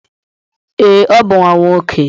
Ee, ọ bụ nwa nwoke.